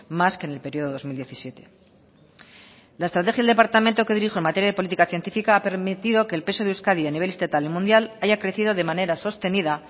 más que en el periodo dos mil diecisiete la estrategia del departamento que dirijo en materia de política científica ha permitido que el peso de euskadi a nivel estatal y mundial haya crecido de manera sostenida